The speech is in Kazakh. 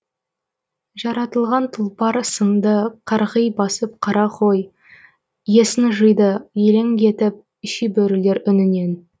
жаратылған тұлпар сынды қарғи басып қара қой есін жиды елең етіп шибөрілер үнінен